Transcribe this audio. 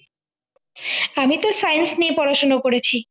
আমি তো science নিয়ে পড়াশোনা করেছি